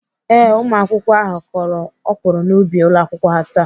Ee, ụmụakwụkwọ ahụ kọrọ ọkwụrụ n'ubi ụlọakwụkwọ ha taa.